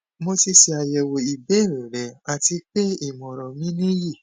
mo ti ṣe ayẹwo ibeere rẹ ati pe imọran mi niyi